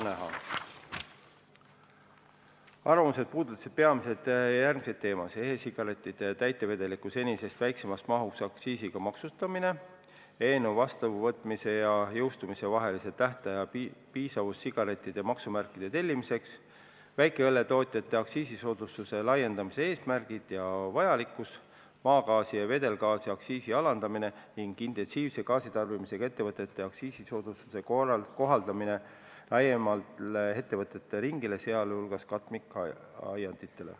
Arvamused puudutasid peamiselt järgmisi teemasid: e-sigarettide täitevedeliku senisest väiksemas mahus aktsiisiga maksustamine, eelnõu vastuvõtmise ja jõustumise vahelise tähtaja piisavus sigarettide maksumärkide tellimiseks, väikeõlletootjate aktsiisisoodustuse laiendamise eesmärgid ja vajalikkus, maagaasi ja vedelgaasi aktsiisi alandamine ning intensiivse gaasitarbimisega ettevõtete aktsiisisoodustuse kohaldamine laiemale ettevõtete ringile, sh katmikaianditele.